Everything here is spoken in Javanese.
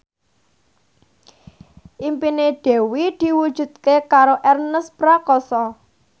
impine Dewi diwujudke karo Ernest Prakasa